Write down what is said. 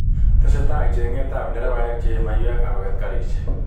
Testai chenget ab derebaek cheyee maiyek agoget karisiek.